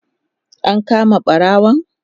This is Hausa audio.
an kama ɓarawon?